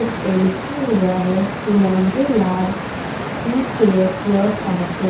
इस पे लिखा हुआ है कि laundry lab re care your fabric --